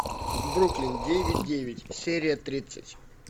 бруклин девять девять серия тридцать